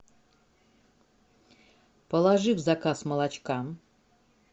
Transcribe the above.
положи в заказ молочка